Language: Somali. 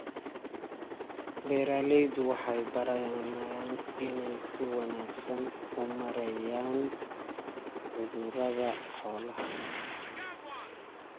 Beeraleydu waxay baranayaan inay si wanaagsan u maareeyaan cudurrada xoolaha.